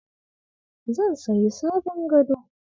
Zan sayi sabon gado.